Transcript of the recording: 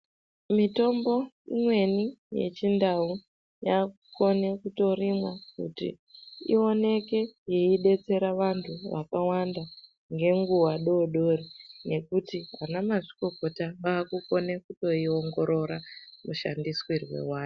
Mitombo imweni yechindau yakukone kutorimwa kuti ioneke yeidetsera vantu vakawanda ngenguwa dodori ngekuti anamazvikokota vakukone kutoingorora mushandisirwe wayo.